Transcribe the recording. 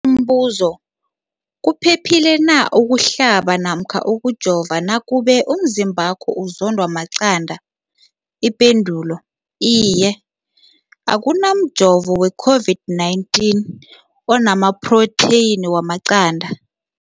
Umbuzo, kuphephile na ukuhlaba namkha ukujova nakube umzimbakho uzondwa maqanda. Ipendulo, iye. Akuna mjovo weCOVID-19 ona maphrotheyini wamaqanda.